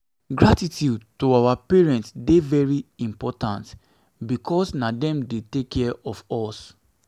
gratitude to our parents de very important because na dem de take care of us